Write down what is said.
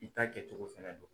I ta kɛcogo fɛnɛ dɔn.